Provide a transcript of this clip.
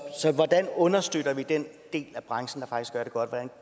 hvordan understøtter vi den del af branchen